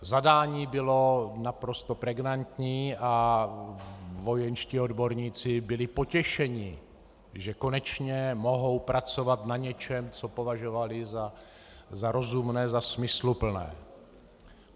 Zadání bylo naprosto pregnantní a vojenští odborníci byli potěšeni, že konečně mohou pracovat na něčem, co považovali za rozumné, za smysluplné.